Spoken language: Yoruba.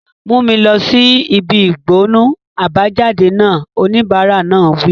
Mú mi lọ sí ibi ìgbọnnu àbájáde náà! Oníbàárà náà wí.